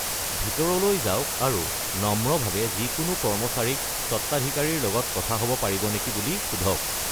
ভিতৰলৈ যাওঁক আৰু নম্ৰভাৱে যিকোনো কৰ্মচাৰীক স্বত্বাধিকাৰীৰ লগত কথা হ'ব পাৰিব নেকি বুলি সোধক।